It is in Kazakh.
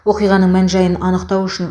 оқиғаның мән жайын анықтау үшін